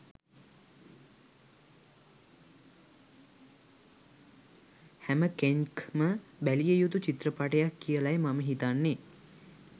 හැමකෙන්ක්ම බැලිය යුතු චිත්‍රපටයක් කියලයි මම හිතන්නෙ.